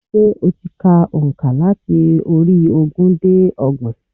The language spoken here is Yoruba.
Sé o ti ka ònkà láti orí ogún dé ọgbọ̀n?